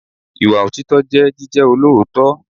Ìwà òtítọ́ jẹ́ jíjẹ́ olóòótọ́.